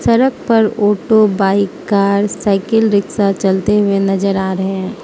सड़क पर auto bike car cycle rickshaw चलते हुए नजर आ रहे हैं।